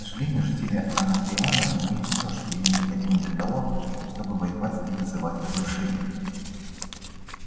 к сожалению жители анакреона имеют всё что им необходимо для того чтобы воевать и вызывать разрушения